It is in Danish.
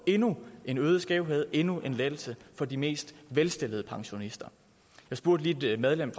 endnu en øget skævhed endnu en lettelse for de mest velstillede pensionister jeg spurgte lige et medlem